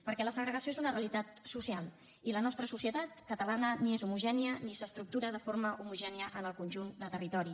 perquè la segregació és una realitat social i la nostra societat catalana ni és homogènia ni s’estructura de forma homogènia en el conjunt de territori